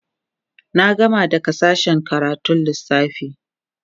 na gama daga sashen karatun Lissafi